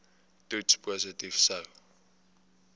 toets positief sou